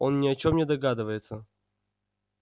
он ни о чём не догадывается